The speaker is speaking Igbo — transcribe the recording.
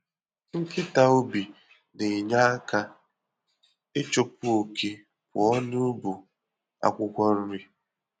Nkịta ubi na-enye aka ịchụpụ oke pụọ n'bu akwukwo-nri.